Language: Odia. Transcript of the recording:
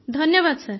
ଧନ୍ୟବାଦ ସାର